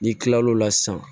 N'i kilal'o la sisan